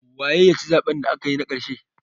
Waye ya ci zaɓen da aka yi na ƙarshe?